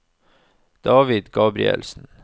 David Gabrielsen